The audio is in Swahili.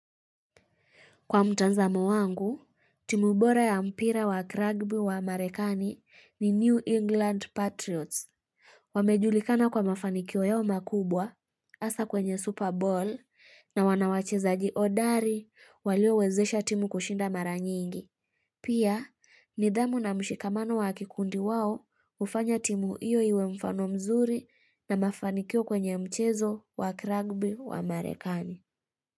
Kwa mtanzamo wangu, timubora ya mpira wa kragbi wa amarekani ni New England Patriots. Wamejulikana kwa mafanikiyo yao makubwa asa kwenye Super Bowl na wanawachezaji hodari walio wezesha timu kushinda mara nyingi. Pia, nidhamu na mshikamano wa kikundi wao ufanya timu iyo iwe mfano mzuri na mafanikiyo kwenye mchezo wa rugby wa amarekani.